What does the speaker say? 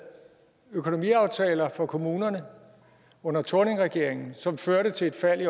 økonomiaftaler for kommunerne under thorningregeringen som førte til et fald i